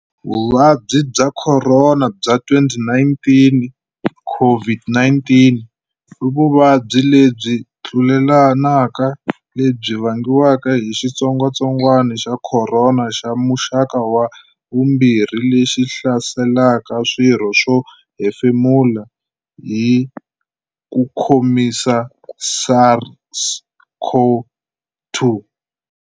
Vuvabyi bya Khorona bya 2019, COVID-19, i vuvabyi lebyi tlulelanaka lebyi vangiwaka hi xitsongwatsongwana xa Khorona xa muxaka wa vumbirhi lexi hlaselaka swirho swo hefemula, Hi ku khomisa SARS-CoV-2.